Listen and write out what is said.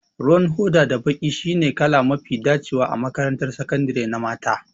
Ruwan hoda da baƙi shine kala mafi dacewa a makarantar sakandare na mata